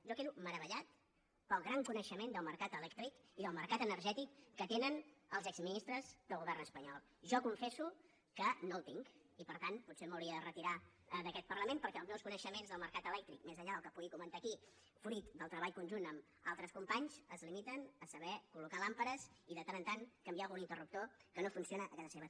jo quedo meravellat pel gran coneixement del mercat elèctric i del mercat energètic que tenen els exministres del govern espanyol jo confesso que no el tinc i per tant potser m’hauria de retirar d’aquest parlament perquè els meus coneixements del mercat elèctric més enllà del que pugui comentar aquí fruit del treball conjunt amb altres companys es limiten a saber col·locar làmpades i de tant en tant canviar algun interruptor que no funciona a casa meva